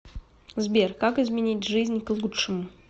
сбер как изменить жизнь к лучшему